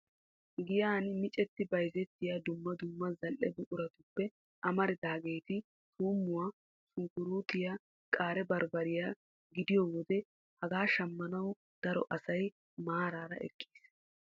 Giyaan miccetti bayzzettiyaa dumma dumma zal"ie buquratuppe mararidaageti tuummuwaa shunkuruutiyaa qaare baribbariyaa gidiyoo wode hegaa shammanawu daro asay maaraara eqqiis.